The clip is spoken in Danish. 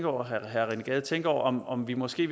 og herre rené gade tænke over om om vi måske